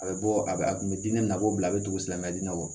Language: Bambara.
A bɛ bɔ a bɛ a tun bɛ diinɛ nako bila a bɛ tugu silamɛya diinɛ na wa